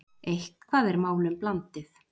Eitthvað er málum blandið